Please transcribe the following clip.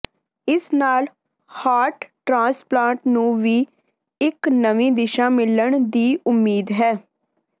ਇਸ ਨਾਲ heart transplant ਨੂੰ ਵੀ ਇਕ ਨਵੀਂ ਦਿਸ਼ਾ ਮਿਲਣ ਦੀ ਉਮੀਦ ਹੈ